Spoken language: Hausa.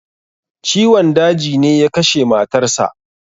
Ciwon daji ne ya kashe matar sa.